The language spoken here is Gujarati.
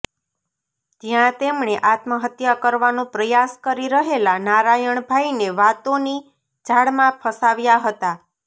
જ્યાં તેમણે આત્મહત્યા કરવાનો પ્રયાસ કરી રહેલા નારાયણભાઈને વાતોની જાળમાં ફસાવ્યા હતા